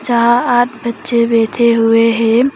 यहां आठ बच्चे बैठे हुए हैं।